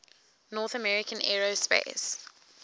north american aerospace